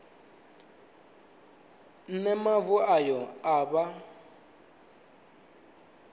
ne mavu ayo a vha